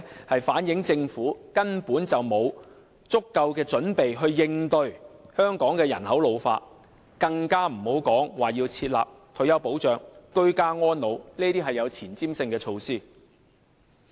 它反映出政府根本沒有足夠準備應對香港人口老化，更遑論設立退休保障、居家安老這些有前瞻性的措施。